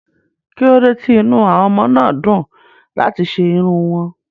Kí ló dé tí inú àwọn ọmọ náà dùn láti ṣe irun wọn?